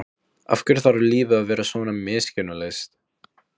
Af hverju þarf lífið að vera svona miskunnarlaust?